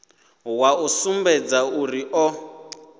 wa u sumbedza uri o